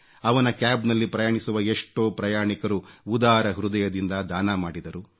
ಅವನ ಕ್ಯಾಬ್ ನಲ್ಲಿ ಪ್ರಯಾಣಿಸುವ ಎಷ್ಟೋ ಪ್ರಯಾಣಿಕರು ಉದಾರ ಹೃದಯದಿಂದ ದಾನ ಮಾಡಿದರು